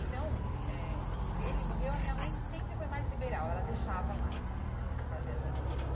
Então, eh ele morreu, a minha mãe sempre foi mais liberal, ela deixava mais hum fazer essas coisas.